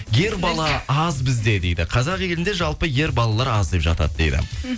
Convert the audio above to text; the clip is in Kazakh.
ер бала аз бізде дейді қазақ елінде жалпы ер балалар аз деп жатады дейді